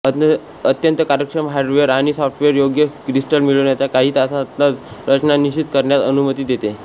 अत्यंत कार्यक्षम हार्डवेर आणि सॉफ्टवेअर योग्य क्रिस्टल मिळवण्याच्या काही तासांतच रचना निश्चित करण्यास अनुमती देते